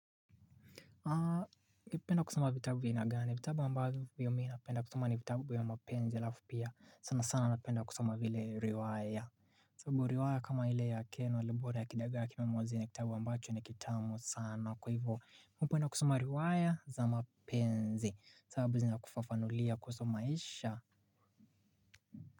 Kipenda kusoma vitabu vya aina gani? Vitabu ambavyo mi napenda kusoma ni vitabu ya mapenzi alafu pia sana sana napenda kusoma vile riwaya sabu riwaya kama ile ya Ken Walibora ya Kidagaa Kimemwozea ni kitabu ambacho ni kitamu sana kwa hivyo mi upenda kusoma riwaya za mapenzi sababu zina kufafanulia kuhusu maisha.